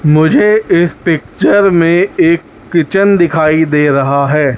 मुझे इस पिक्चर में एक किचन दिखाई दे रहा है।